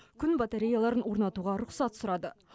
күн батареяларын орнатуға рұқсат сұрады